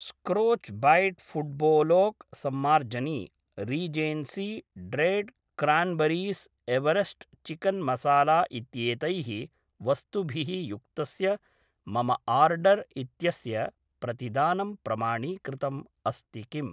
स्क्रोच् bat फुट्बोलोक् सम्मार्जनी Regency ड्रैड् क्रान्बरीस् एवरेस्ट् चिकन् मसाला इत्यैतैः वस्तुभिः युक्तस्य मम आर्डर् इत्यस्य प्रतिदानं प्रमाणीकृतम् अस्ति किम्